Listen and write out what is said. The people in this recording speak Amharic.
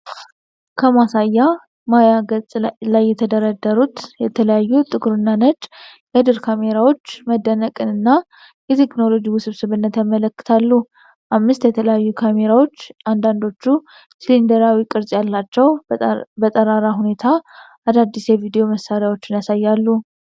ከማሳያ ማያ ገጽ ላይ የተደረደሩት የተለያዩ ጥቁርና ነጭ የድር ካሜራዎች፣ መደነቅን እና የቴክኖሎጂን ውስብስብነት ያመለክታሉ። አምስት የተለያዩ ካሜራዎች፣ አንዳንዶቹ ሲሊንደራዊ ቅርጽ ያላቸው፣ በጠራራ ሁኔታ አዳዲስ የቪዲዮ መሣሪያዎችን ያሳያሉ።